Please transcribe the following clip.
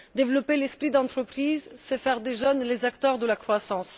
Développer l'esprit d'entreprise, c'est faire des jeunes les acteurs de la croissance.